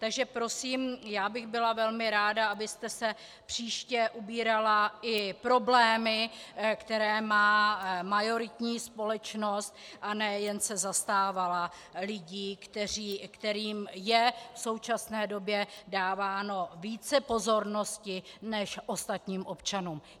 Takže prosím, já bych byla velmi ráda, abyste se příště obírala i problémy, které má majoritní společnost, a ne jen se zastávala lidí, kterým je v současné době dáváno více pozornosti než ostatním občanům.